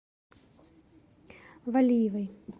валиевой